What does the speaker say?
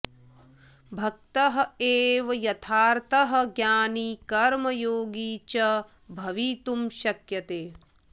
भक्त एव यथार्थतः ज्ञानी कर्मयोगी च भवितुं शक्यते